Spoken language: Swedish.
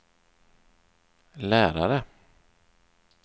lärare